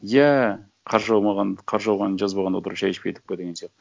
иә қар жаумағанды қар жауғанды жазбаған отырып шәй ішпедік па деген сияқты